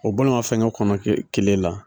O balimafɛnkɛ kɔnɔ ke kelen la